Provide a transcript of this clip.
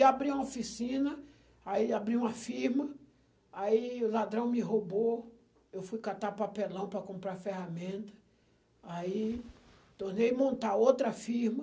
e abri uma oficina, aí abri uma firma, aí o ladrão me roubou, eu fui catar papelão para comprar ferramenta, aí tornei montar outra firma,